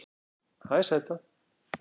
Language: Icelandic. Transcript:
Hæ sæta